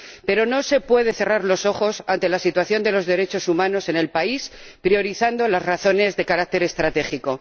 Pero no se pueden cerrar los ojos ante la situación de los derechos humanos en el país priorizando las razones de carácter estratégico.